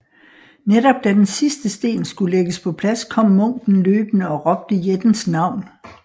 Netop da den sidste sten skulle lægges på plads kom munken løbende og råbte jættens navn